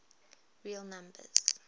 real numbers